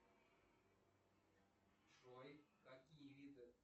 джой какие виды